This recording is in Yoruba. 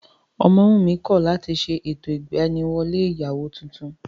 Ọmọwùnmí kọ̀ láti ṣe ètò ìgbaniwọlé ìyàwó tuntun